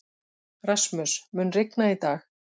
Rasmus, mun rigna í dag?